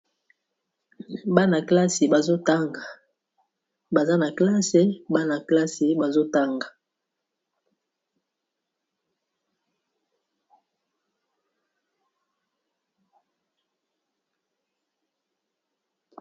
Bana classe bazo tanga baza classe.